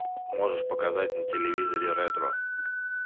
можешь показать на телевизоре ретро